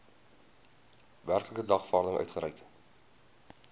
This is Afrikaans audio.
werklike dagvaarding uitgereik